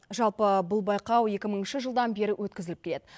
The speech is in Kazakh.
жалпы бұл байқау екі мыңыншы жылдан бері өткізіліп келеді